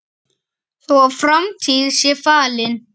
Þó að framtíð sé falin